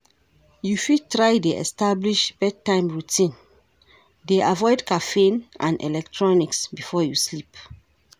You fit try dey establish bedtime routine, dey avoid caffeine and electronics before you sleep.